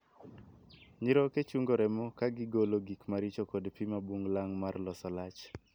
Nyiroke chungo remo ka gigolo gik maricho kod pii mabug lang' mar loso lach.